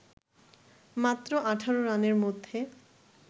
মাত্র ১৮ রানের মধ্যে